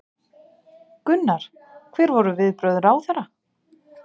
Gunnar: Hver voru viðbrögð ráðherra?